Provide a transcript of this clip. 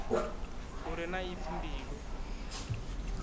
u re na ipfi mbilu